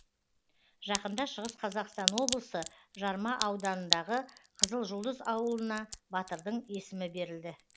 жақында шығыс қазақстан облысы жарма ауданындағы қызылжұлдыз ауылына батырдың есімі берілді